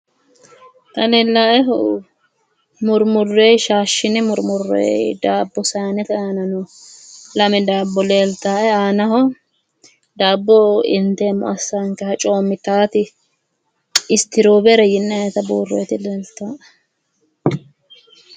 Xa leellaaehu murmureyo shaashshine murmureyo daabbo sayinete aana no. Lame daabbo leeltaae aanaho daabbo inteemmo assaankeha coommitaati istiroowere yinayita buurroyeeti leeltaae .